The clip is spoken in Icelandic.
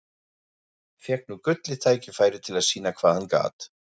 Fékk nú gullið tækifæri til að sýna hvað hann gat.